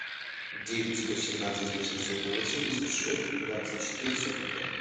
девять сто семнадцать восемьсот восемьдесят шесть двадцать четыре сорок пять